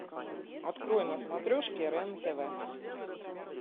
открой на смотрешке рен тв